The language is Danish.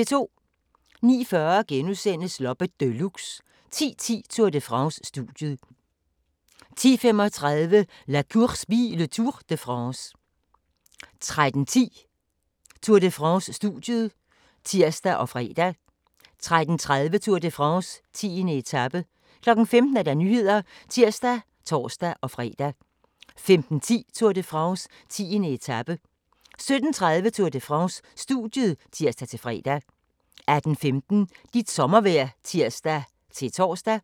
09:40: Loppe Deluxe * 10:10: Tour de France: Studiet 10:35: La Course By le Tour de France 13:10: Tour de France: Studiet (tir og fre) 13:30: Tour de France: 10. etape 15:00: Nyhederne (tir og tor-fre) 15:10: Tour de France: 10. etape 17:30: Tour de France: Studiet (tir-fre) 18:15: Dit sommervejr (tir-tor)